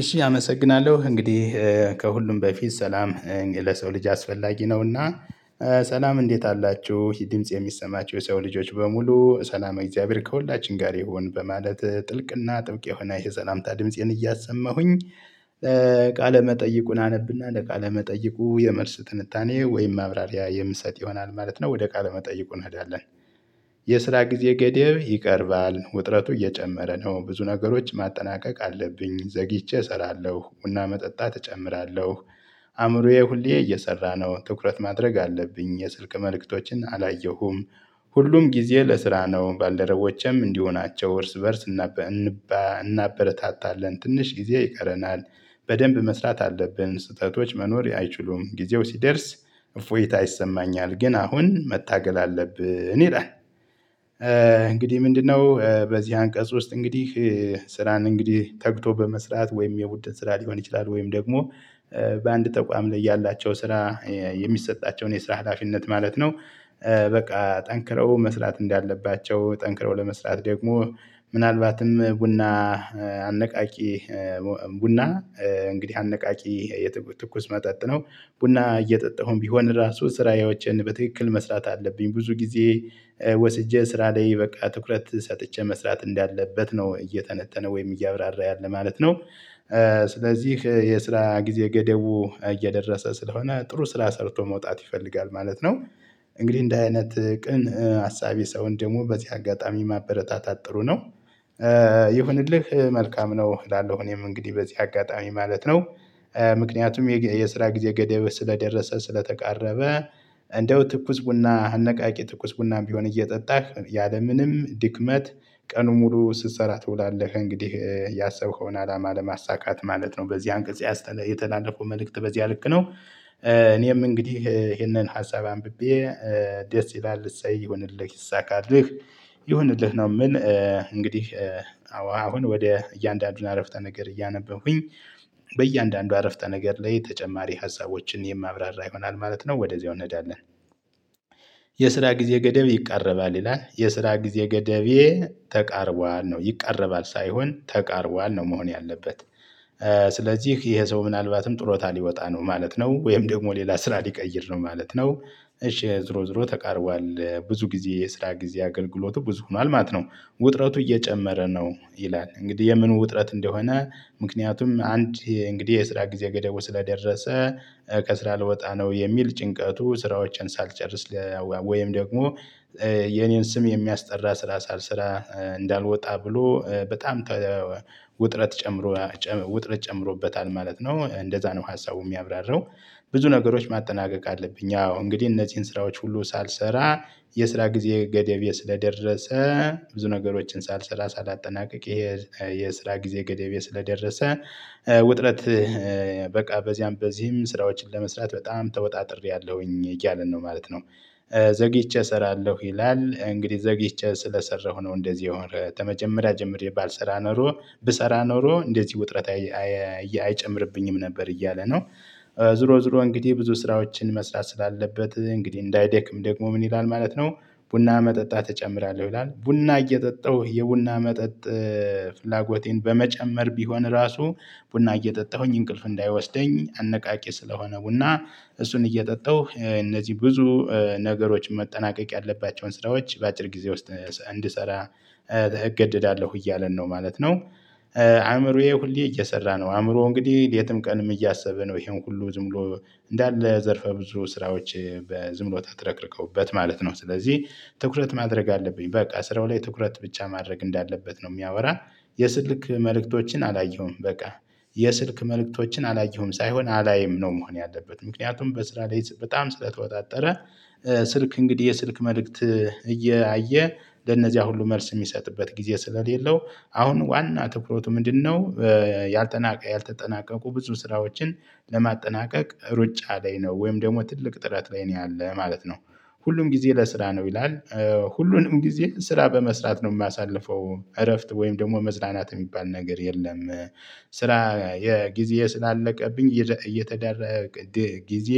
እሺ አመሰግናለሁ እንግዲህ ከሁሉም በፊት ሰላም ለሰው ልጅ አስፈላጊ ነውና ሰላም እንዴት አላችሁ ይህ ድምጽ የሚሰማችሁ የሰው ልጆች በሙሉ ሰላመ እግዚአብሔር ከሁላችን ጋር ይሁን በማለት ጥልቅና ጥብቅ የሆነ የሰላምታ ድምፄን እያሰማሁኝ። ቃለ መጠይቁን አነብና ለቃለ መጠይቁ የመልስ ትንታኔ ወይም ማብራሪያ የምሰጥ ይሆናል ማለት ነው። ወደ ቃለ መጠይቁ እንሄዳለን። የስራ ጊዜ ገደብ ይቀርባል ውጥረቱ እየጨመረ ነው ብዙ ነገሮች ማጠናቀቅ አለብኝ ዘግይቼ እሰራለሁ ቡና መጠጣት እጨምራለሁ። አእምሮዬ ሁሌ እየሰራ ነው ትኩረት ማድረግ አለብኝ የስልክ መልእክቶችን አላየሁም። ሁሉም ጊዜ ለስራ ነው ባልደረቦቼም እንዲሁ ናቸው። እርስ በእርስ እናበረታታለን ትንሽ ጊዜ ይቀረናል። በደንብ መስራት አለብን ስህተቶች መኖር አይችሉም ጊዜው ሲደርስ እፎይታ ይሰማኛል ግን አሁን መታገል አለብን ይላል። እንግዲህ ምንድነው በዚህ አንቀጽ ውስጥ እንግዲህ ስራን እንግዲህ ተግቶ በመስራት ወይም የቡድን ስራ ሊሆን ይችላል ወይም ደግሞ በአንድ ተቋም ላይ ያላቸው ስራ የሚሰጣቸውን የስራ ሀላፊነት ማለት ነው። በቃ ጠንክረው መስራት እንዳለባቸው ጠንክረው ለመስራት ደግሞ ምናልባትም ቡና አነቃቂ ቡና እንግዲህ አነቃቂ የትኩስ መጠጥ ነው። ቡና እየጠጣሁም ቢሆን ራሱ ስራዬዎችን በትክክል መስራት አለብኝ ብዙ ጊዜ ወስጄ ስራ ላይ በቃ ትኩረት ሰጥቼ መስራት እንዳለበት ነው እየተነተነ ወይም እያብራራ ያለ ማለት ነው። ስለዚህ የስራ ጊዜ ገደቡ እየደረሰ ስለሆነ ጥሩ ስራ ሰርቶ መውጣት ይፈልጋል ማለት ነው። እንግዲህ እንዲህ አይነት ቅን አሳቢ ሰውን ደግሞ በዚህ አጋጣሚ ማበረታታት ጥሩ ነው። ይሁንልህ መልካም ነው እላለሁ እኔም እንግዲህ በዚህ አጋጣሚ ማለት ነው። ምክንያቱም የስራ ጊዜ ገደብ ስለደረሰ ስለተቃረበ። እንደው ትኩስ ቡና አነቃቂ ትኩስ ቡናም ቢሆን እየጠጣህ ያለምንም ድክመት ቀኑን ሙሉ ስትሰራ ትውላለህ እንግዲህ ያሰብከውን አላማ ለማሳካት ማለት ነው በዚህ አንቀጽ ያስ የተላለፈው መልእክት በዚያ ልክ ነው። እኔም እንግዲህ ይሄንን ሀሳብ አንብቤ ደስ ይላል እሰይ ይሁንልህ ይሳካልክ ይሁንልህ ነው ምል። እንግዲህ አዎ አሁን ወደ እያንዳንዱን አረፍተ ነገር እያነበብኩኝ በእያንዳንዱ አረፍተ ነገር ላይ ተጨማሪ ሀሳቦችን የማብራራ ይሆናል ማለት ነው ወደዚያው እንሄዳለን። የስራ ጊዜ ገደብ ይቃረባል ይላል የስራ ጊዜ ገደቤ ተቃርቧል ነው ይቃረባል ሳይሆን ተቃርቧል ነው መሆን ያለበት። ስለዚህ ይሄ ሰው ምናልባትም ጡረታ ሊወጣ ነው ማለት ነው ወይም ደግሞ ሌላ ስራ ሊቀይር ነው ማለት ነው። እሺ ዙሮ ዙሮ ተቃርቧል ብዙ ጊዜ የስራ ጊዜ አገልግሎቱ ብዙ ሆኗል ማለት ነው። ውጥረቱ እየጨመረ ነው ይላል እንግዲህ የምን ውጥረት እንደሆነ ምክንያቱም አንድ እንግዲህ የስራ ጊዜ ገደቡ ስለደረሰ ከስራ ልወጣ ነው የሚል ጭንቀቱ ስራዎቼን ሳልጨርስ ወይም ደግሞ የኔን ስም የሚያስጠራ ስራ ሳልሰራ እንዳልወጣ ብሎ በጣም ተ ውጥረት ጨምሮ ውጥረት ጨምሮበታል ማለት ነው እንደዛ ነው ሀሳቡ የሚያብራራው። ብዙ ነገሮች ማጠናቀቅ አለብኝ አዎ እንግዲህ እነዚህን ስራዎች ሁሉ ሳልሰራ የስራ ጊዜ ገደቤ ስለደረሰ ብዙ ነገሮችን ሳልሰራ ሳላጠናቅቅ ይሄ የስራ ጊዜ ገደቤ ስለደረሰ ውጥረት በቃ በዚያም በዚህም ስራዎችን ለመስራት በጣም ተወጣጥሬአለሁኝ እያልን ነው ማለት ነው። ዘግይቼ እሰራለሁ ይላል እንግዲህ ዘግይቼ ስለሰራሁ ነው እንደዚህ የሆነ ተመጀመሪያ ጀምሬ ባልሰራ ኖሮ ብሰራ ኖሮ እንደዚህ ውጥረት አይጨምርብኝም ነበር እያለ ነው። ዙሮ ዙሮ እንግዲህ ብዙ ስራዎችን መስራት ስላለበት እንግዲህ እንዳይደክም ደግሞ ምን ይላል ማለት ነው። ቡና መጠጣት እጨምራለሁ ይላል ቡና እየጠጠው የቡና መጠጥ ፍላጎቴን በመጨመር ቢሆን ራሱ ቡና እየጠጣሁኝ እንቅልፍ እንዳይወስደኝ አነቃቂ ስለሆነ ቡና እሱን እየጠጣው እነዚህ ብዙ ነገሮች መጠናቀቅ ያለባቸውን ስራዎች በአጭር ጊዜ ውስጥ እንድሰራ እገደዳለሁ እያለን ነው ማለት ነው። አእምሮዬ ሁሌ እየሰራ ነው አእምሮ እንግዲህ ሌትም ቀንም እያሰበ ነው ይሄን ሁሉ ዝም ብሎ እንዳለ ዘርፈ ብዙ ስራዎች በዝም ብሎ ተትለቅልቀውበት ማለት ነው ስለዚህ ትኩረት ማድረግ አለብኝ በቃ ስራው ላይ ትኩረት ብቻ ማድረግ እንዳለበት ነው የሚያወራ። የስልክ መልእክቶችን አላየሁም በቃ የስልክ መልእክቶችን አላየሁም ሳይሆን አላይም ነው መሆን ያለበት ምክንያቱም በስራ ላይ በጣም ስለተወጣጠረ። ስልክ እንግዲህ የስልክ መልእክት እያየ ለነዚያ ሁሉ መልስ የሚሰጥበት ጊዜ ስለሌለው አሁን ዋና ትኩረቱ ምንድነው? ያልተጠናቀ ያልተጠናቀቁ ብዙ ስራዎችን ለማጠናቀቅ ሩጫ ላይ ነው ወይም ደግሞ ትልቅ ጥረት ላይ ነው ያለ ማለት ነው። ሁሉም ጊዜ ለስራ ነው ይላል። ሁሉንም ጊዜ ስራ በመስራት ነው የማሳልፈው እረፍት ወይም ደግሞ መዝናናት የሚባል ነገር የለም። ስራ የጊዜ ስላለቀብኝ እየተደረገ ጊዜ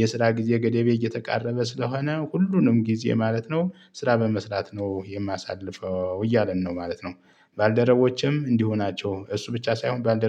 የስራ ጊዜ ገደቤ እየተቃረበ ስለሆነ ሁሉንም ጊዜ ማለት ነው ስራ በመስራት ነው የማሳልፈው እያለን ነው ማለት ነው። ባልደረቦቼም እንዲሁ ናቸው እሱ ብቻ ሳይሆን ባልደረ